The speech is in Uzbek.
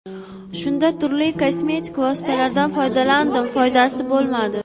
Shunda turli kosmetik vositalardan foydalandim; foydasi bo‘lmadi.